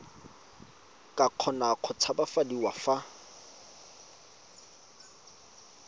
ka kgona go tshabafadiwa fa